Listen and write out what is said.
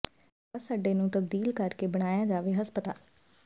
ਬੱਸ ਅੱਡੇ ਨੂੰ ਤਬਦੀਲ ਕਰ ਕੇ ਬਣਾਇਆ ਜਾਵੇ ਹਸਪਤਾਲ